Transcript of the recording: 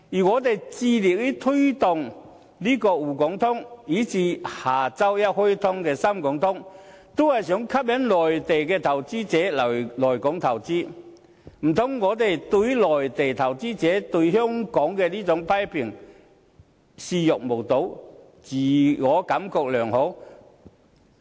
我們致力推動滬港通，以至下周一開通的深港通，都是為吸引內地投資者來港投資，難道我們可以對於內地投資者對香港的這種批評視若無睹，自我感覺良好？